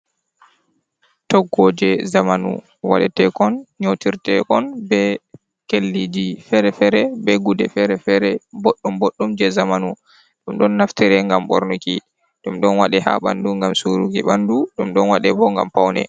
Toggoje zamanu waɗe tekon nyotir tekon be kelliji fere-fere be gude fere-fere boddum boddum je zamanu, ɗum ɗon naftire ngam bornuki. ɗum ɗon wade ha ɓandu ngam suruki ɓandu, ɗum ɗon wade bo ngam paune.